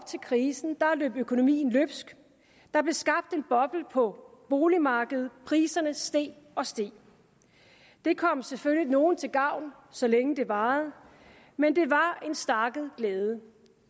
til krisen løb økonomien løbsk der blev skabt en boble på boligmarkedet priserne steg og steg det kom selvfølgelig nogle til gavn så længe det varede men det var en stakket glæde